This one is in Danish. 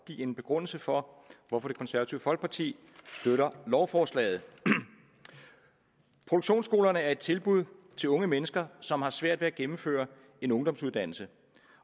give en begrundelse for hvorfor det konservative folkeparti støtter lovforslaget produktionsskolerne er et tilbud til unge mennesker som har svært ved at gennemføre en ungdomsuddannelse